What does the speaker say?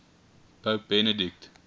pope benedict